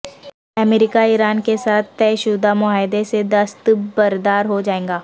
امریکہ Iran کے ساتھ طے شدہ معاہدے سے دستبردار ہو جائیگا